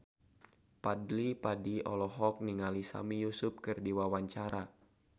Fadly Padi olohok ningali Sami Yusuf keur diwawancara